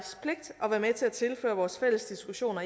med til at tilføre vores fælles diskussioner